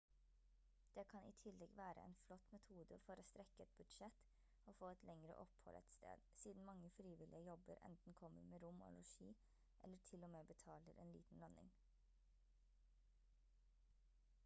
det kan i tillegg være en flott metode for å strekke et budsjett og få et lengre opphold et sted siden mange frivillige jobber enten kommer med rom og losji eller til-og-med betaler en liten lønning